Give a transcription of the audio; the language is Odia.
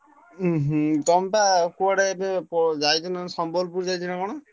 ଉଁ ହୁଁ ତମେ ପା କୁଆଡ଼େ ଏବେ ଯାଇଥିଲ ସମ୍ୱଲପୁର ଯାଇଥିଲ ନା କଣ?